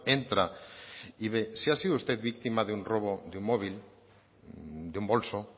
entra y ve si ha sido usted víctima de un robo de un móvil de un bolso